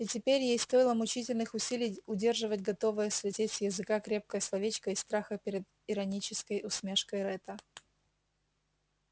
и теперь ей стоило мучительных усилий удерживать готовое слететь с языка крепкое словечко из страха перед иронической усмешкой ретта